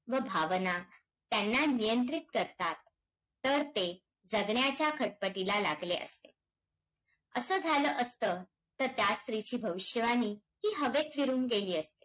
देव घेव वेग वेगवान होणे या महामार्गाची वाट महत्त्वाच्या जिल्हा मधून तालुक्यामधून तर.